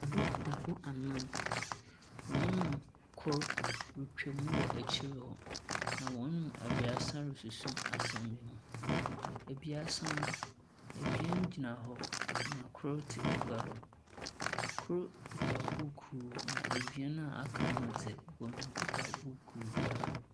Adɔkotafoɔ anan, hɔn mu kor retwa mu wɔ ekyir hɔ, na hɔn mu ebaasa rosusu asɛm bi ho. Ebaasa no ebien gyina hɔ, na kor tse agya do. Kor kita buukuu, na ebien no a wɔaka no dze wɔnkita buuku biara.